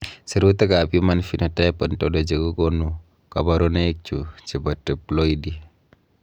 Sirutikab Human Phenotype Ontology kokonu koborunoikchu chebo Triploidy.